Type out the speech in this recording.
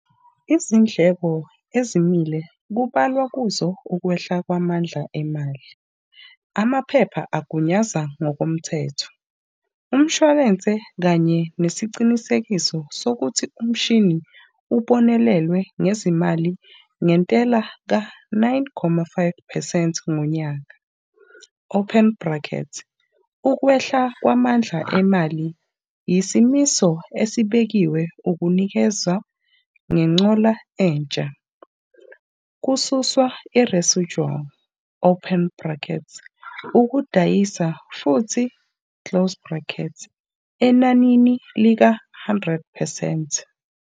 Izindleko ezimile kubalwa kuzo ukwehla kwamandla emali, amaphepha agunyaza ngokomthetho, umshwalensi kanye nesiqinisekiso sokuthi umshini ubonelelwe ngezimali ngentela ka-9,5 percent ngonyaka., Ukwehla kwamandla emali yisimiso esibekiwe ukunikeza ngenqola entsha, kususwa iresijuwali, ukudayisa futhi, enanini lika-100 percent.